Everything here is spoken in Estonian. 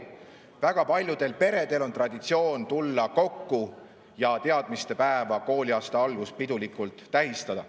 Väga paljudel peredel on traditsioon tulla kokku ja teadmistepäeva, kooliaasta algust pidulikult tähistada.